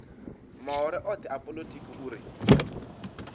mahoro othe a polotiki uri